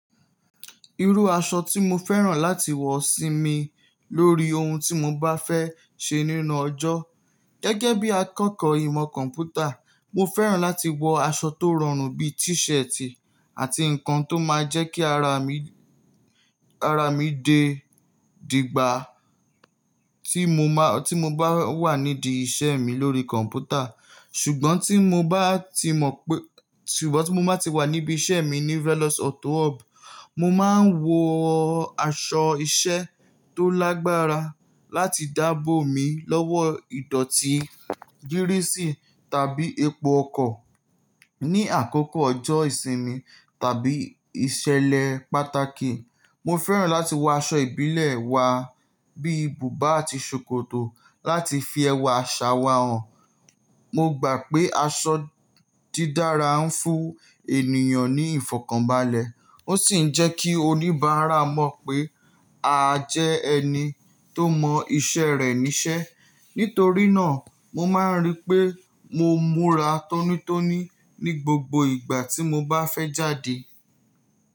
Irú aṣọ tí mo fẹ́ràn láti wọ̀ sími lórí ohun tí mo bá fẹ́ ṣe nínú ọjọ́ gẹ́gẹ́ bí akẹ́kọ̀ọ́ ìmọ̀ kọ̀ḿpútà, mo fẹ́ràn láti wọ aṣọ tó rọrùn bí t-shirt àti nǹkan tó máa ń jẹ́ kí ara mi, ara mi dé dígbà tí mo má, tí mo bá wà nídìí iṣẹ́ mi lórí kọ̀m̀pútà. Ṣùgbọ́n tí mo bá ti mọ̀ pé, ṣùgbọ́n tí mo bá ti wà níbí iṣẹ́ mi ní Velos Auto Hub, mo máa ń wọ aṣọ iṣẹ́ tó lágbára láti dáàbò mi lọ́wọ́ ìdọ̀tí gírísì tàbí epo ọkọ̀. Ní àkókò ọjọ́ ìsinmi tàbí ìṣẹ̀lẹ̀ pàtàkì, mo fẹ́ràn láti wọ aṣọ ìbílẹ̀ wa bí bùbá àti ṣòkòtò láti fi ẹwà aṣàwà hàn. Mo gbà pé aṣọ dídára ń fún ènìyàn ní ìfọ̀kànbalẹ̀, ó sì ń jẹ́ kí oníbàárà mọ̀ pé a jẹ́ ẹni tó mọ iṣẹ́ rẹ̀ níṣẹ́. Nítorí náà, mo máa ń rí pé mo múra tónítóní ní gbogbo ìgbà tí mo bá fẹ́ jáde.